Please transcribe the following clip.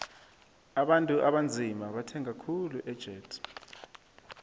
abantu abanzima bathenga khuli ejet